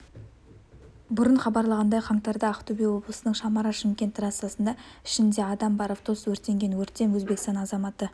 бұрын хабарлағандай қаңтарда ақтөбе облысының самара шымкент трассасында ішінде адам бар автобус өртенген өрттен өзбекстан азаматы